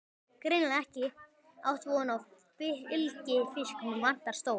Greinilega ekki átt von á fylgifisknum, vantar stól.